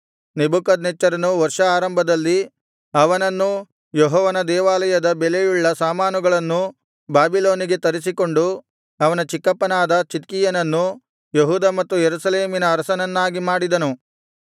ನೆಬೂಕದ್ನೆಚ್ಚರನು ವರ್ಷ ಆರಂಭದಲ್ಲಿ ಅವನನ್ನೂ ಯೆಹೋವನ ದೇವಾಲಯದ ಬೆಲೆಯುಳ್ಳ ಸಾಮಾನುಗಳನ್ನು ಬಾಬಿಲೋನಿಗೆ ತರಿಸಿಕೊಂಡು ಅವನ ಚಿಕ್ಕಪ್ಪನಾದ ಚಿದ್ಕೀಯನನ್ನು ಯೆಹೂದ ಮತ್ತು ಯೆರೂಸಲೇಮಿನ ಅರಸನನ್ನಾಗಿ ಮಾಡಿದನು